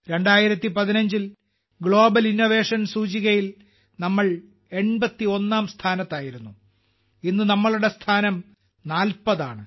2015ൽ global innovation സൂചികയിൽ നമ്മൾ 81ാം സ്ഥാനത്തായിരുന്നു ഇന്ന് നമ്മളുടെ സ്ഥാനം 40 ആണ്